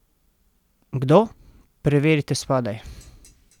Kdo, preverite spodaj!